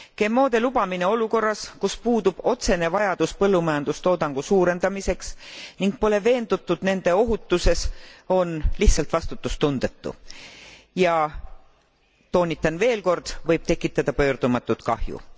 GMOde lubamine olukorras, kus puudub otsene vajadus põllumajandustoodangu suurendamiseks ning pole veendutud nende ohutuses, on lihtsalt vastutustundetu ja, toonitan veel kord, võib tekitada pöördumatut kahju.